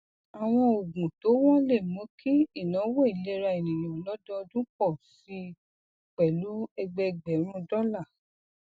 àwọn oògùn tó wọn lè mú kí ìnáwó ìlera ènìyàn lọdọọdún pọ sí i pẹlú ẹgbẹẹgbẹrún dọlà